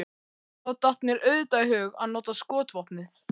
Þá datt mér auðvitað í hug að nota skotvopnið.